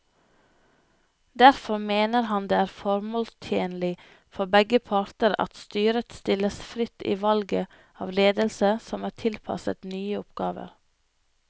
Derfor mener han det er formålstjenlig for begge parter at styret stilles fritt i valget av ledelse som er tilpasset nye oppgaver.